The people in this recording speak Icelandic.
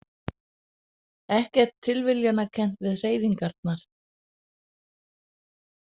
Ekkert tilviljanakennt við hreyfingarnar.